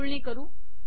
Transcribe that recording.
जुळणी करू